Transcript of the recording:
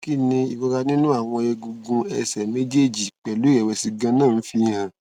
kí ni ìrora ninu àwọn egungun ẹsẹ méjèèjì pelu irẹwẹsì ganan ń fi hàn